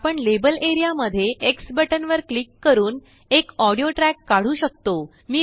आपण label area मध्येX button वर क्लिक करूनएक ऑडियो ट्रैक काढू शकतो